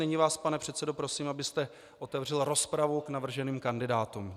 Nyní vás, pane předsedo, prosím, abyste otevřel rozpravu k navrženým kandidátům.